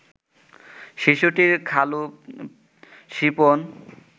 শিশুটির খালু শিপন